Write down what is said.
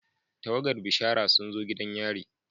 Tawagar bishara sun zo gidan yari.